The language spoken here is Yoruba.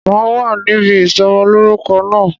Máa wá níbi ìsọmọ lórúkọ náà